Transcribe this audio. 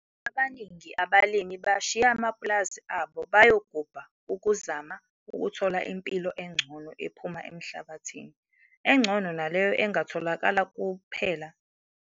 Abaningi abalimi bashiye amapulazi abo bayogubha ukuzama ukuthola impilo engcono ephuma emhlabathini, engcono naleyo engatholakala ngokulima kuphela.